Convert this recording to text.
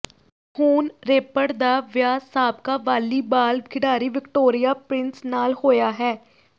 ਹੁਣ ਰੇਪਰ ਦਾ ਵਿਆਹ ਸਾਬਕਾ ਵਾਲੀਬਾਲ ਖਿਡਾਰੀ ਵਿਕਟੋਰੀਆ ਪ੍ਰਿੰਸ ਨਾਲ ਹੋਇਆ ਹੈ